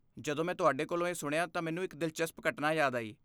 ਜਦੋਂ ਮੈਂ ਤੁਹਾਡੇ ਕੋਲੋਂ ਇਹ ਸੁਣਿਆ ਤਾਂ ਮੈਨੂੰ ਇੱਕ ਦਿਲਚਸਪ ਘਟਨਾ ਯਾਦ ਆਈ।